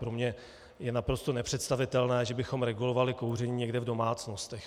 Pro mě je naprosto nepředstavitelné, že bychom regulovali kouření někde v domácnostech.